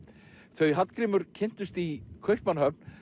þau Hallgrímur kynntust í Kaupmannahöfn